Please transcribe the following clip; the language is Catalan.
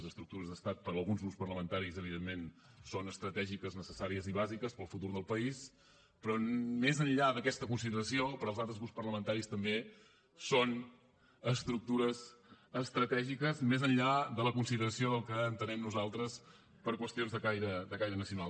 les estructures d’estat per a alguns grups parlamentaris evidentment són estratègiques necessàries i bàsiques per al futur del país però més enllà d’aquesta consideració per als altres grups parlamentaris també són estructures estratègiques més enllà de la consideració del que entenem nosaltres per qüestions de caire nacional